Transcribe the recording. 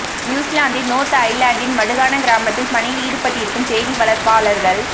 நியூஸிலாந்தின் north ஐலண்டில் மடுகானா கிராமத்தில் பணியில் ஈடுபட்டிருக்கும் தேனி வளர்ப்பாளர்கள்